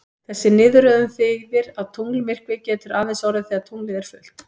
Þessi niðurröðun þýðir að tunglmyrkvi getur aðeins orðið þegar tunglið er fullt.